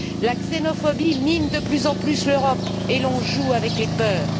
La xénophobie mine de plus en plus l'Europe et l'on joue avec les peurs.